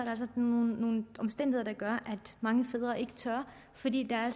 altså nogle omstændigheder der gør at mange fædre ikke tør fordi der er